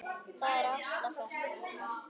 Það er Ásta frænka.